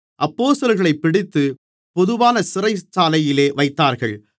அப்போஸ்தலர்களைப் பிடித்து பொதுவான சிறைச்சாலையிலே வைத்தார்கள்